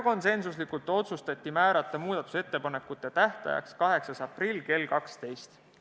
Konsensuslikult otsustati määrata muudatusettepanekute tähtajaks 8. aprill kell 12.